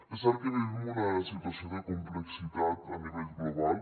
és cert que vivim una situació de complexitat a nivell global